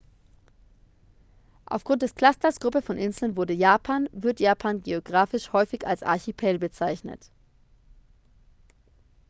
"aufgrund des clusters/gruppe von inseln wurde japan wird japan geografisch häufig als "archipel" bezeichnet.